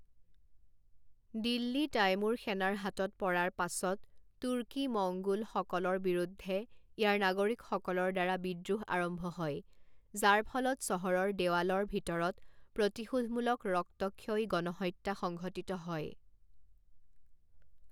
Delhi Timur সেনাৰ হাতত পৰাৰ পাছত তুৰ্কী মঙ্গোলসকলৰ বিৰুদ্ধে ইয়াৰ নাগৰিকসকলৰ দ্বাৰা বিদ্ৰোহ আৰম্ভ হয় যাৰ ফলত চহৰৰ দেৱালৰ ভিতৰত প্ৰতিশোধমূলক ৰক্তক্ষয়ী গণহত্যা সংঘটিত হয়।